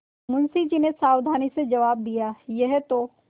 मुंशी जी ने सावधानी से जवाब दियायह तो